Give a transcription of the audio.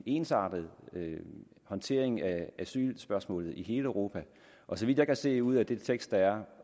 ensartet håndtering af asylspørgsmålet i hele europa og så vidt jeg kan se ud af den tekst der er